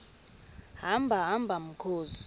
hamba hamba mkhozi